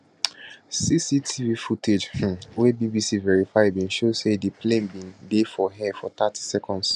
cctv footage um wey bbc verify bin show say di plane bin dey for air for thirty seconds